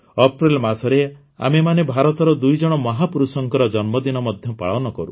ଅପ୍ରେଲ ମାସରେ ଆମେମାନେ ଭାରତର ଦୁଇଜଣ ମହାପୁରୁଷଙ୍କର ଜନ୍ମଦିନ ମଧ୍ୟ ପାଳନ କରୁ